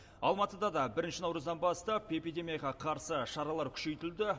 алматыда да бірінші наурыздан бастап эпидемияға қарсы шаралар күшейтілді